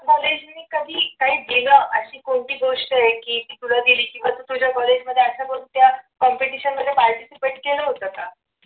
college कधी काय दिलं अशी कोणती गोष्ट आहे की तुला दिली की तुझ्या college मध्ये अशा कसल्या competition मध्ये participate केलं होतं का?